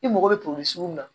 I mago bɛ sugu min na